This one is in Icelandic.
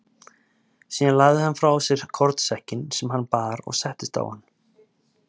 Síðan lagði hann frá sér kornsekkinn sem hann bar og settist á hann.